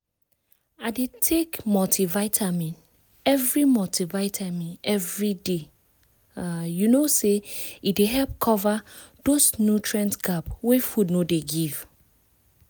i dey take multivitamin every multivitamin every day um you know say e dey help cover those nutrient gap wey food no dey give